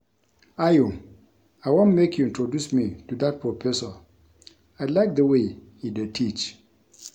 Ayo I want make you introduce me to dat Professor I like the way he dey teach